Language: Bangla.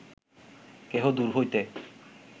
কেহ দূর হইতে